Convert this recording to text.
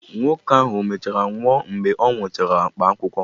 Nwoke ahụ ọ mechara nwụọ mgbe ọ nwụchara mkpaakwụkwọ?